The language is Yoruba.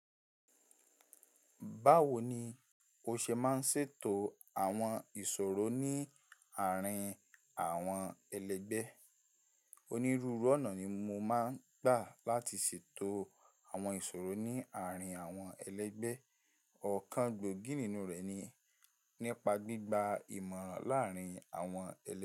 Báwo ni o ṣe máa ń ṣètò àwọn ìṣòro ní àárín àwọn ẹlẹgbẹ́? Onírúurú ọ̀nà ni mo máa ń gbà láti ṣètò àwọn ìṣòro ní àárín àwọn ẹlẹgbẹ́. Ọ̀kan gbòógì nínú rẹ̀ ni nípa gbígba ìmọ̀ràn láàárín àwọn ẹlẹgbẹ́